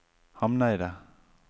Hamneidet